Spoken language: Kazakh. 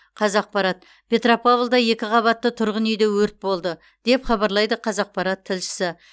қазақпарат петропавлда екі қабатты тұрғын үйде өрт болды деп хабарлайды қазақпарат тілшісі